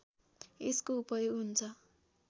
यसको उपयोग हुन्छ